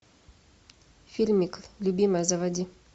фильмик любимая заводи